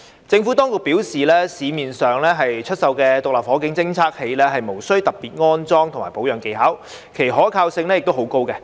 政府當局表示，市面上出售的獨立火警偵測器，無需特別的安裝及保養技巧，其可靠性亦很高。